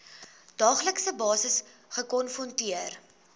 daaglikse basis gekonfronteer